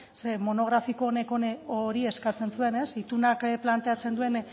zer monografiko hori eskatzen zuen ez itunak planteatzen duen